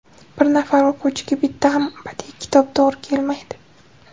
Bir nafar o‘quvchiga bitta ham badiiy kitob to‘g‘ri kelmaydi.